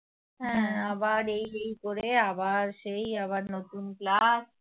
আবার সেই আবার নতুন class